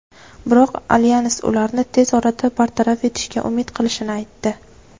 biroq alyans ularni tez orada bartaraf etishga umid qilishini aytdi.